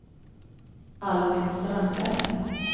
Albin Strandberg